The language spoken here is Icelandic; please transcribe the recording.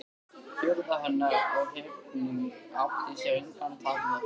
Furða hennar og hrifning átti sér engin takmörk.